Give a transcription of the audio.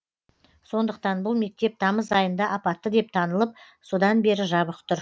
сондықтан бұл мектеп тамыз айында апатты деп танылып содан бері жабық тұр